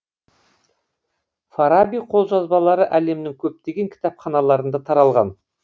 фараби қолжазбалары әлемнің көптеген кітапханаларында таралған